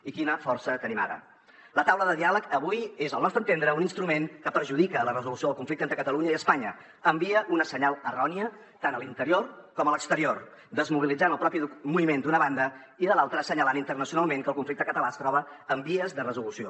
i quina força tenim ara la taula de diàleg avui és al nostre entendre un instrument que perjudica la resolució del conflicte entre catalunya i espanya envia un senyal erroni tant a l’interior com a l’exterior desmobilitzant el propi moviment d’una banda i de l’altra assenyalant internacionalment que el conflicte català es troba en vies de resolució